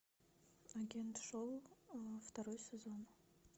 агент шоу второй сезон